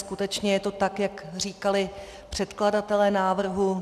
Skutečně je to tak, jak říkali předkladatelé návrhu?